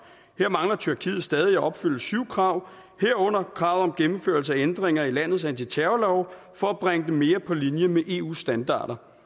her mangler tyrkiet stadig at opfylde syv krav herunder krav om gennemførelse af ændringer i landets antiterrorlove for at bringe dem mere på linje med eus standarder